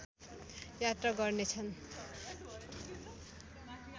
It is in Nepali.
यात्रा गर्नेछन्